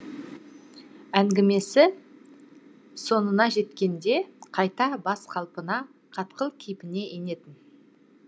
әңгімесі соңына жеткенде қайта баз қалпына қатқыл кейпіне енетін